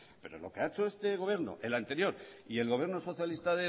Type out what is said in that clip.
pero lo que ha hecho este gobierno el anterior y el gobierno socialista